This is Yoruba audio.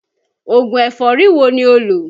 Ògùn ẹ̀fọ́rí wo ni ó lọ́?